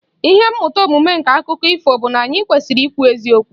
Ihe mmụta omume nke akụkọ ifo bụ na anyị kwesịrị ikwu eziokwu